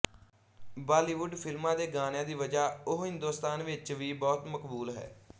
ਬਾਲੀਵੁੱਡ ਫ਼ਿਲਮਾਂ ਦੇ ਗਾਣਿਆਂ ਦੀ ਵਜ੍ਹਾ ਉਹ ਹਿੰਦੁਸਤਾਨ ਵਿੱਚ ਵੀ ਬਹੁਤ ਮਕਬੂਲ ਹੈ